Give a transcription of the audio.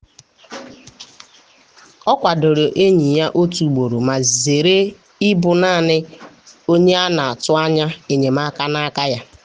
o kwadoro enyi ya otu ugboro ma zere ịbụ naanị onye a na-atụ anya enyemaka n’aka ya.